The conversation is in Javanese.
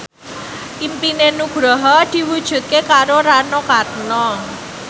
impine Nugroho diwujudke karo Rano Karno